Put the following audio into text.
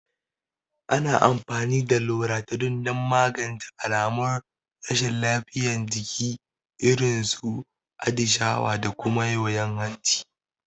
Ana amfani da Loratadin don magance alamun rashin lafiyar jiki, irin su atishawa da kuma yoyon hanci.